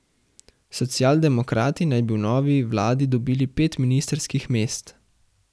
Socialdemokrati naj bi v novi vladi dobili pet ministrskih mest.